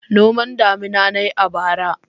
Noman damina na yi a bara.